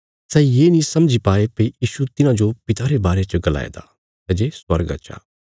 सै ये नीं समझी पाये भई यीशु तिन्हांजो पिता रे बारे च गलाया दा सै जे स्वर्गा चा